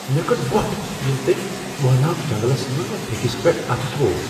مے٘ کٔڈ ووٹھ ییٚلہ تٔمۍ وٲناکھ جنگلس منز مے٘ پھیكِس پیٹھ اتھہٕ تھوو ۔